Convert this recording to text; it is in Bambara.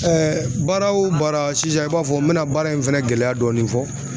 baara o baara sisan i b'a fɔ n bɛna baara in fɛnɛ gɛlɛya dɔɔni fɔ.